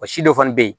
Wa si dɔ fana bɛ yen